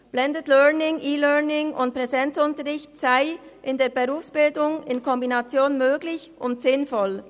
Blended Learning, E-Learning und Präsenzunterricht seien in der Berufsbildung in Kombination möglich und sinnvoll.